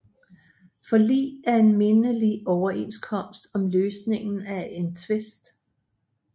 Forlig er en mindelig overenskomst om løsningen af en tvist